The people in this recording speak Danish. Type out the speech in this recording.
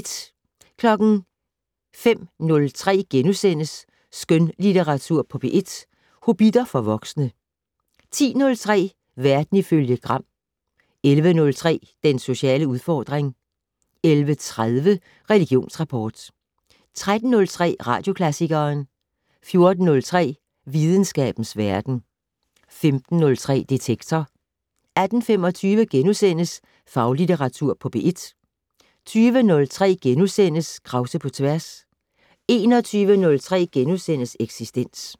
05:03: Skønlitteratur på P1: Hobbitter for voksne * 10:03: Verden ifølge Gram 11:03: Den sociale udfordring 11:30: Religionsrapport 13:03: Radioklassikeren 14:03: Videnskabens Verden 15:03: Detektor 18:25: Faglitteratur på P1 * 20:03: Krause på tværs * 21:03: Eksistens *